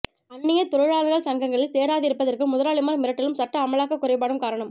அந்நிய தொழிலாளர்கள் சங்கங்களில் சேராதிருப்பதற்கு முதலாளிமார் மிரட்டலும் சட்ட அமலாக்கக் குறைபாடும் காரணம்